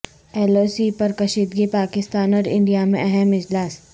L O C پر کشیدگی پاکستان اور انڈیا میں اہم اجلاس